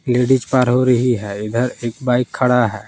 Ladies पार हो रही है इधर एक बाइक खड़ा है।